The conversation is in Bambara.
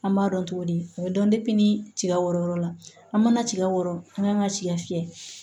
An b'a dɔn togo di o bɛ dɔn ni tiga wɛrɛ yɔrɔ la an ma tiga wɔrɔ an kan ka tigɛ